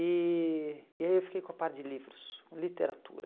E e aí eu fiquei com a parte de livros, literatura.